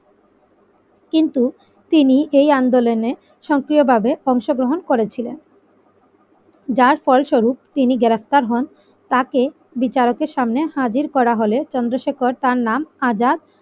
কিন্তু তিনি এই আন্দোলনে সক্রিয়ভাবে অংশগ্রহণ করেছিলেন যার ফলস্বরূপ তিনি গ্রেফতার হন তাকে বিচারকের সামনে হাজির করা হলে চন্দ্রশেখর তার নাম আজাদ।